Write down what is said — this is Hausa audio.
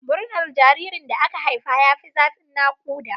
Murnar jaririn da aka haifa ya fi zafin naƙuda.